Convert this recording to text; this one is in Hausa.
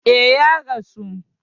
E, Ya rasu.